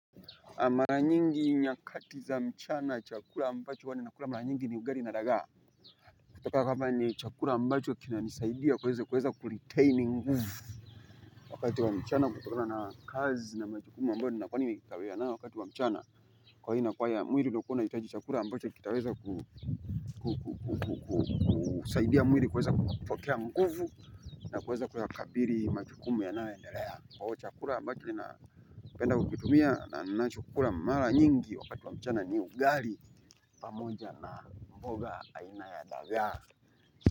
Mara nyingi nyakati za mchana chakura ambacho uwani na kula mara nyingi ni ugari na dagaa kutoka kapa ni chakura ambacho kina nisaidia kuweza kuweza kuliteini nguvu wakati wa mchana kuturana na kazi na machikumu ambacho nina kwani mikitawea na wakati wa mchana kwa hii na kwa ya mwiri lukona yitaji chakura ambacho kitaweza kusaidia mwiri kuweza kwakea nguvu na kuweza kuweza kabiri machikumu ya naendelea. Kwao chakura ambacho lina penda kukitumia na ninachokura mara nyingi wakati wa mchana ni ugali pamoja na mboga aina ya dagaa.